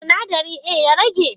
Sinadarin A ya rage?